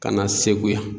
Ka na segu yan